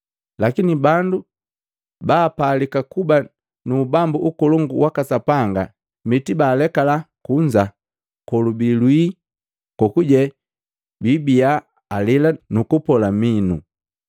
Lakini bandu baapalika kuba mu ubambu ukolongu waka Sapanga, mitibaalekala kunza, kolubii lwii, kokuje biibiya alela nukupola minu.”